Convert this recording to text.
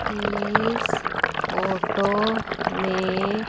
इस फोटो में--